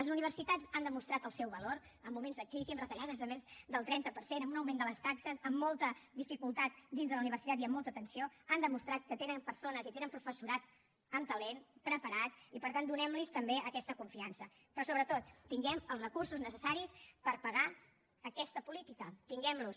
les universitats han demostrat el seu valor en moments de crisi amb retallades de més del trenta per cent amb un augment de les taxes amb molta dificultat dins de la universitat i amb molta tensió han demostrat que tenen persones i tenen professorat amb talent preparat i per tant donem los també aquesta confiança però sobretot tinguem els recursos necessaris per pagar aquesta política tinguem los